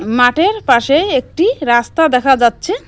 মাঠের পাশে একটি রাস্তা দেখা যাচ্ছে।